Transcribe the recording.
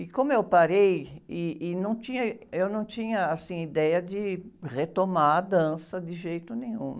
E como eu parei, ih, ih, não tinha, eu não tinha ideia de retomar a dança de jeito nenhum.